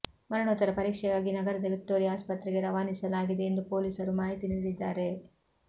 ಮರಣೋತ್ತರ ಪರೀಕ್ಷೆಗಾಗಿ ನಗರದ ವಿಕ್ಟೋರಿಯಾ ಆಸ್ಪತ್ರೆಗೆ ರವಾನಿಸಲಾಗಿದೆ ಎಂದು ಪೊಲೀಸರು ಮಾಹಿತಿ ನೀಡಿದ್ದಾರೆ